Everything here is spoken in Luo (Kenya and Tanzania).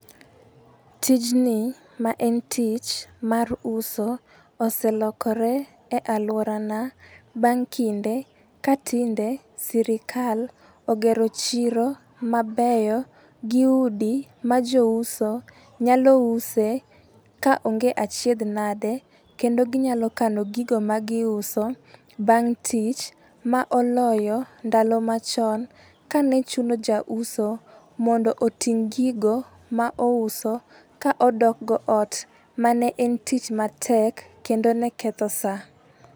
Tijni ma en tich mar uso oselokore e aluora na bang' kinde ka tinde sirikal ogero chiro mabeyo gi udi ma jouso nyalo use ka onge achiedh nade. Kendo ginyalo kano gigo ma giuso bang' tich ma oloyo ndalo machon ka ne chuno jauso mondo oting' gigo ma ouso ka odok go ot mane en tich matek kendo ne ketho saa.